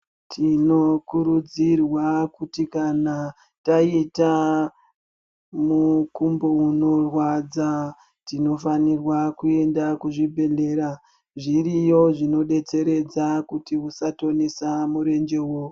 Tinokurudzirwa kuti kana taita mukumbo unorwadza tinofanirwa kuenda kuzvibhehlera. Zviriyo zvinodetseredza kuti usatonisa murenjewo.